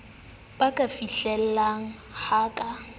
ba ka fihlellang ho ka